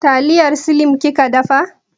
Taliyar slim kika dafa?